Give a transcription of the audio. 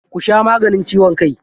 Ku sha maganin ciwon kai.